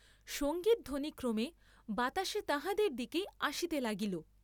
সঙ্গীত ধ্বনি ক্রমে বাতাসে তাঁহাদের দিকেই আসিতে লাগিল।